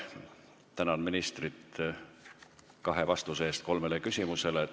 Tänan ministrit kahe vastuse eest kolmele küsimusele.